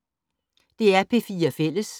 DR P4 Fælles